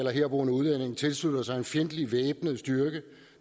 eller herboende udlænding tilslutter sig en fjendtlig væbnet styrke